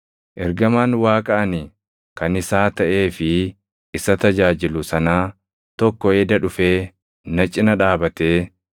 Ergamaan Waaqa ani kan isaa taʼee fi isa tajaajilu sanaa tokko eda dhufee na cina dhaabatee,